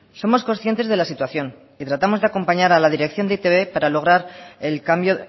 somos conscientes de la situación y tratamos de acompañar a la dirección de e i te be para lograr el cambio